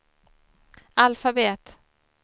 alfabet